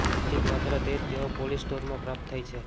ઉચિત માત્ર તે જે તેઓ પોલીશ સ્ટોરમાં પ્રાપ્ત થઈ છે